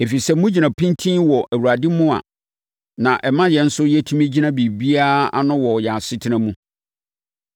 ɛfiri sɛ, sɛ mogyina pintinn wɔ Awurade mu a, na ɛma yɛn nso yɛtumi gyina biribiara ano wɔ yɛn asetena mu.